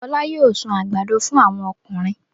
Fọlá yóò sun àgbàdo fún àwọn ọkùnrin.